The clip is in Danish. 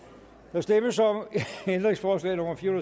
der stemmes om ændringsforslag nummer fire